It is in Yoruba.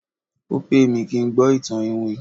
o pẹ mi kin gbó itan iwin